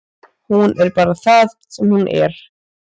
Hún er bara það sem hún er.